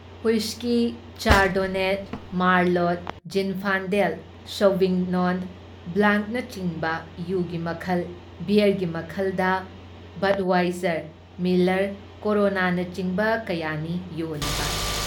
Whisky, chardonnay, merlot, zinfandel, ꯁꯧꯚꯤꯒꯅꯣꯟ ꯕ꯭ꯂꯥꯡꯛꯅꯆꯤꯡꯕ ꯌꯨꯒꯤ ꯃꯈꯜ, ꯕꯤꯌꯥꯔꯒꯤ ꯃꯈꯜꯗ, ꯕꯗꯋꯥꯏꯖꯔ, ꯃꯤꯜꯂꯔ, ꯀꯣꯔꯣꯅꯥꯅꯆꯤꯡꯕ ꯀꯌꯥꯅꯤ ꯌꯣꯜꯂꯤꯕ ꯫